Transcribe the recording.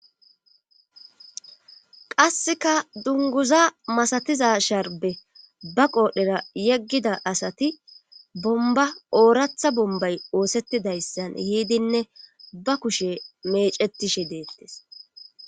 Qasseka dunguza masatiza sharbe ba qoodhera yeggida asati bomba ooratha bombay oosettidayssan yiidinne ba kushe mecetishe deettes